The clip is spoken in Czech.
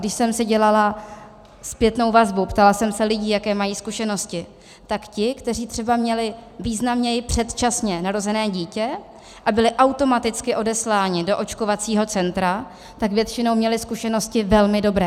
Když jsem si dělala zpětnou vazbu, ptala jsem se lidí, jaké mají zkušenosti, tak ti, kteří třeba měli významněji předčasně narozené dítě a byli automaticky odesláni do očkovacího centra, tak většinou měli zkušenosti velmi dobré.